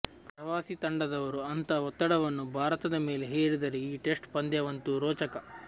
ಪ್ರವಾಸಿ ತಂಡದವರು ಅಂಥ ಒತ್ತಡವನ್ನು ಭಾರತದ ಮೇಲೆ ಹೇರಿದರೆ ಈ ಟೆಸ್ಟ್ ಪಂದ್ಯವಂತೂ ರೋಚಕ